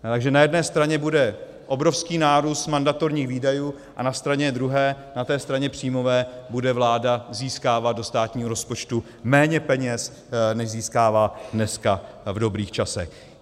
Takže na jedné straně bude obrovský nárůst mandatorních výdajů a na straně druhé, na té straně příjmové, bude vláda získávat do státního rozpočtu méně peněz, než získává dneska v dobrých časech.